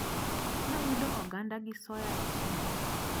Nayudo oganda gi soya e chiro.